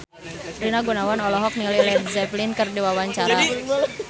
Rina Gunawan olohok ningali Led Zeppelin keur diwawancara